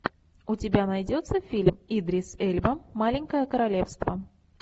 у тебя найдется фильм идрис эльба маленькое королевство